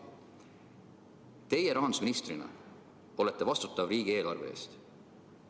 Teie rahandusministrina olete vastutav riigieelarve eest.